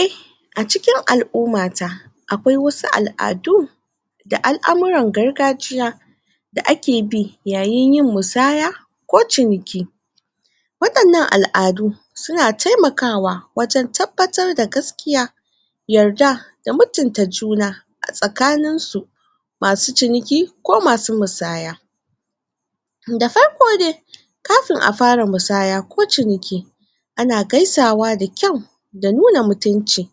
eh a cikin al'umata akwai wasu al'adu da al'amuran gargajiya da ake bi yayin yin musaya ko ciniki waɗannan al'adu suna taimakawa wajen tabbatar da gaskiya yarda da mutunta juna a tsakaninsu masu ciniki ko mkasu musaya da farko de kafin a fara musaya ko ciniki ana gaisawa da kyau da nuna mutunci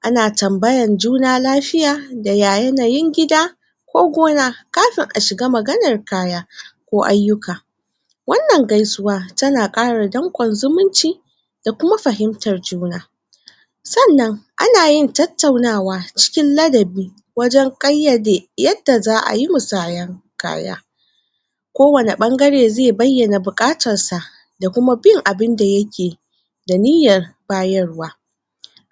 ana tambayan juna lafiya da ya yanayin gida ko gona kafin a shiga magananr kaya ko ayyuka wannan gaisuwa tana ƙara danƙon zumunci da kuma fahimtar juna sannan ana yin tattaunawa cikin ladabi wajen ƙayyade yadda za'ayi musaya kaya kowani ɓangare ze bayyana buƙatarsa da kuma bin abinda yake da niyyar bayarwa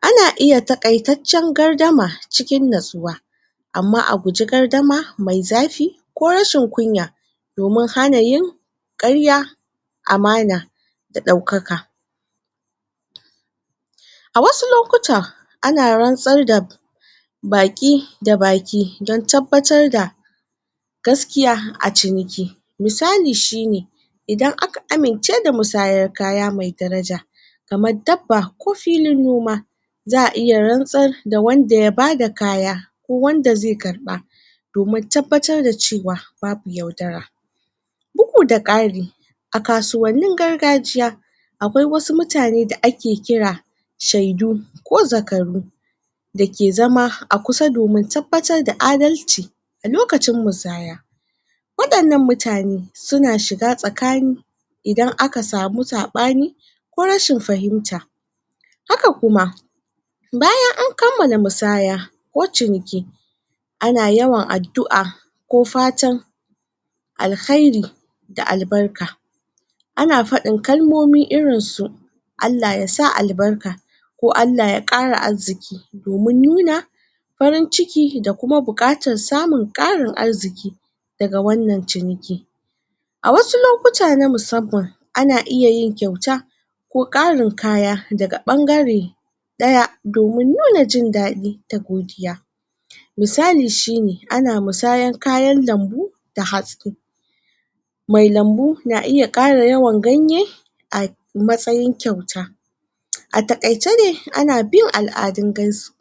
ana iya taƙaitaccen gardama cikin natsuwa amma a guje gardama mai zafi ko rashin kunya domin hana yin ƙarya amana da ɗaukaka? a wasu lokuta ana rantsar da baki da baki don tabbatar da gaskiya a ciniki misali shine idan aka amince da musayar kaya mai daraja kamar dabba ko filin noma za'a iya rantsar da wanda ya bada kaya ko wanda ze karɓa domin tabbatar da cewa babu yaudara bugu da ƙari a kasuwannin gargajiya akwai wasu mutane da ake kira shaidu ko zakaru dake zama a kusa domin tabbatar da adalci a lokacin musaya waɗannan mutane suna shiga tsakani idan aka samu saɓani ko rashin fahimta haka kuma bayan an kammala musaya ko ciniki ana yawan addu'a ko fatan alkhairi da albarka ana faɗin kalmomi irin su Allah yasa albarka ko Allah ya ƙara arziki domin nuna farin ciki da kuma buƙatar samun ƙarin arziki daga wannan ciniki a wasu lokuta na musamman ana iya yin kyauta ko ƙarin kaya daga ɓangare ɗaya domin nuna jin daɗi da godiya misali shine ana musayan kayan lambu da hatsi mai lambu na iya ƙara yawan ganye a matsayin kyauta a taƙaice dai ana bin al'adun gaisu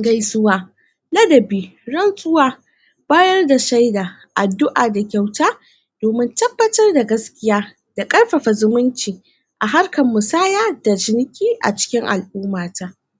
gaisuwa ladabi rantsuwa bayar da shaida addu'a da kyauta domin tabbatar da gaskiya da ƙarfafa zumunci a harkan musaya da ciniki a cikin al'umata